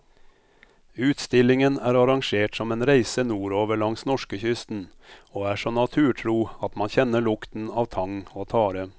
Utstillingen er arrangert som en reise nordover langs norskekysten og er så naturtro at man kjenner lukten av tang og tare.